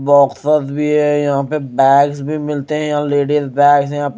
boxers boxers भी है यहां पे बैग्स भी मिलते हैं यहां लेडीज बैग्स हैं य --